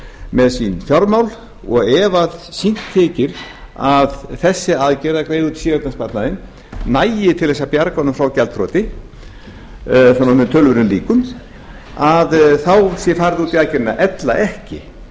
með sín fjármál og ef fínt þykir að þessi aðgerð að greiða út séreignarsparnaðinn nægi til að bjarga honum frá gjaldþroti með töluverðum líkum þá sé farið út í aðgerðina ella ekki